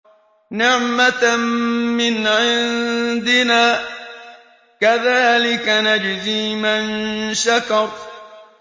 نِّعْمَةً مِّنْ عِندِنَا ۚ كَذَٰلِكَ نَجْزِي مَن شَكَرَ